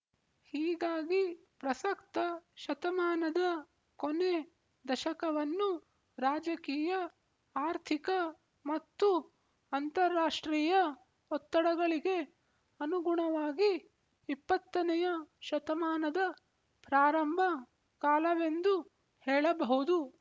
ಹೀಗಾಗಿ ಪ್ರಸಕ್ತ ಶತಮಾನದ ಕೊನೆ ದಶಕವನ್ನು ರಾಜಕೀಯ ಆರ್ಥಿಕ ಮತ್ತು ಅಂತರಾಷ್ಟ್ರೀಯ ಒತ್ತಡಗಳಿಗೆ ಅನುಗುಣವಾಗಿ ಇಪ್ಪತ್ತನೆಯ ಶತಮಾನದ ಪ್ರಾರಂಭ ಕಾಲವೆಂದು ಹೇಳಬಹುದು